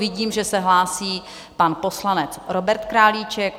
Vidím, že se hlásí pan poslanec Robert Králíček.